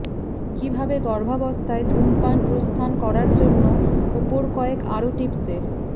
কিভাবে গর্ভাবস্থায় ধূমপান প্রস্থান করার জন্য উপর কয়েক আরো টিপসের